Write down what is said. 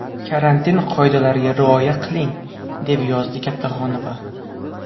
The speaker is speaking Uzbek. Karantin qoidalariga rioya qiling”, deb yozdi Kattaxonova.